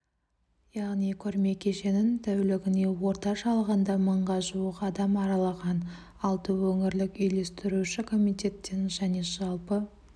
яғни көрме кешенін тәулігіне орташа алғанда мыңға жуық адам аралаған алты өңірлік үйлестіруші комитеттен және жалпы